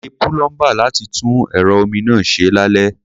Pe púlọ́ḿbà láti tún ẹ̀rọ omi náà ṣe lálẹ́.